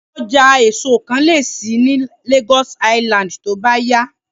Ọjà èso kan lè ṣí ní Lagos Island tó bá yá